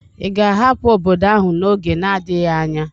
Ị ga-ahapụ obodo ahụ n'oge na-adịghị anya?